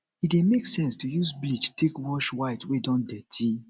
e dey make sense to use bleach take wash white wey don dirty